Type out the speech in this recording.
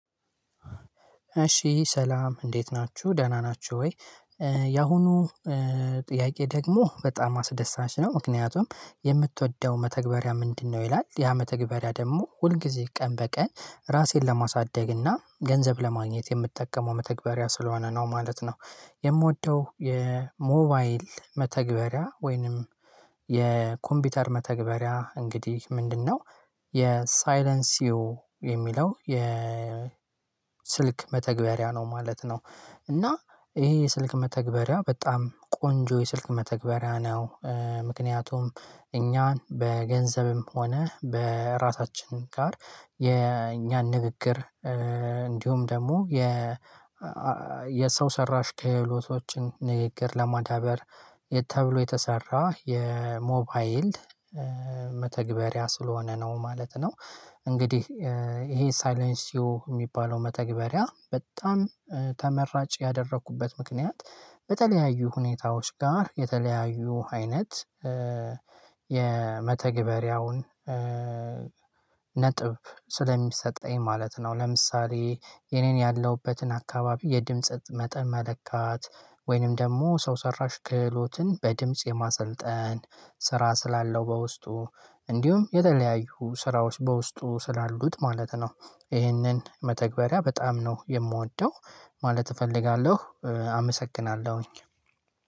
እሺ ሰላም እንዴት ናችሁ ደህና ናችሁ? ወይ ያሁኑ ጥያቄ ደግሞ በጣም አስደሳች ነው ምክንያቱም የምትወደው መተግበሪያ ምንድነው? ይላል ያ መተግበሪያ ደግሞ ሁል ጊዜ ቀን በቀን ራሴን ለማሳደግ እና ገንዘብ ለማግኘት የምጠቀመው መተግበሪያ ስለሆነ ነው ማለት ነው። የምወደው የሞባይል መተግበሪያ ወይንም የኮምፒውተር መተግበሪያ እንግዲህ ምንድነው? የሳይለንስዮ የሚለው የስልክ መተግበሪያ ነው ማለት ነው። እና ይሄ ስልክ መተግበሪያ በጣም ቆንጆ የስልክ መተግበሪያ ነው። ምክንያቱም እኛን በገንዘብም ሆነ በራሳችን ጋር የኛን ንግግር እንዲሁም ደግሞ የ የሰው ሰራሽ ክህሎቶችን ንግግር ለማዳበር ተብሎ የተሰራ የሞባይል መተግበሪያ ስለሆነ ነው ማለት ነው። እንግዲህ ይሄ ሳይለንሲዮ የሚባለው መተግበሪያ በጣም ተመራጭ ያደረግኩበት ምክንያት በተለያዩ ሁኔታዎች ጋር የተለያዩ አይነት የመተግበሪያውን ነጥብ ስለሚሰጠኝ ማለት ነው። ለምሳሌ የኔን ያለሁበትን አካባቢ የድምጽ መጠን መለካት ወይንም ደግሞ ሰው ሰራሽ ክህሎትን በድምጽ የማሰልጠን ስራ ስላለው በውስጡ እንዲሁም የተለያዩ ስራዎች በውስጡ ስላሉት ማለት ነው። ይህንን መተግበሪያ በጣም ነው የምወደው ማለት እፈልጋለሁ አመሰግናለሁኝ።